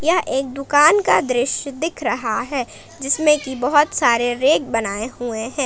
यह एक दुकान का दृश्य दिख रहा है जिसमें की बहोत सारे रेक बनाए हुए हैं।